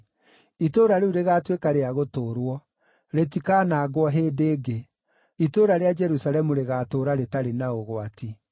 Itũũra rĩu rĩgaatuĩka rĩa gũtũũrwo; rĩtikaanangwo hĩndĩ ĩngĩ. Itũũra rĩa Jerusalemu rĩgaatũũra rĩtarĩ na ũgwati.